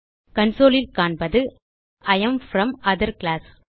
consoleல் காண்பது I am from other class